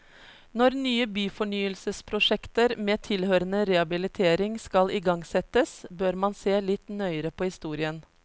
Når nye byfornyelsesprosjekter med tilhørende rehabilitering skal igangsettes, bør man se litt nøyere på historien.